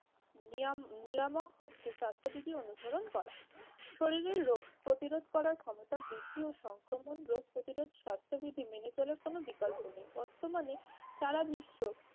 নিয়াম~ নিয়ামক হচ্ছে স্বাস্থ্যবিধি অনুসরণ করা। শরীরের রোগ প্রতিরোধ করার ক্ষমতা বৃদ্ধি ও সংক্রমণ রোগ প্রতিরোধ স্বাস্থ্যবিধি মেনে চলার কোন বিকল্প নেই। বর্তমানে সারা বিশ্ব